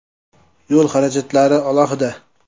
Yo‘l xarajatlari alohida.